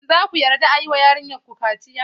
Shin za ku yarda a yi wa yarinyarku kaciya?